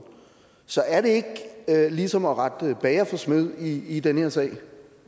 så er det ikke ligesom at rette bager for smed i den her sag